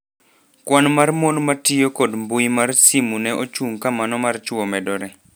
"Kwan mar mon matio kod mbui mar simu ne ochung' ka mano mar chwo medore."